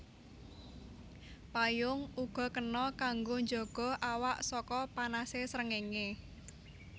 Payung uga kena kanggo njaga awak saka panasé srengéngé